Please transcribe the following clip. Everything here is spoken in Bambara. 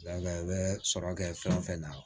i bɛ sɔrɔ kɛ fɛn fɛn na